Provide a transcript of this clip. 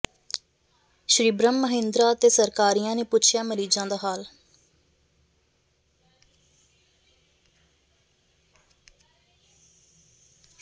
ਸ੍ਰੀ ਬ੍ਰਹਮ ਮਹਿੰਦਰਾ ਤੇ ਸਰਕਾਰੀਆ ਨੇ ਪੁੱਛਿਆ ਮਰੀਜਾਂ ਦਾ ਹਾਲ